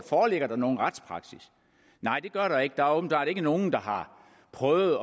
foreligger nogen retspraksis nej det gør der ikke der er åbenbart ikke nogen der har prøvet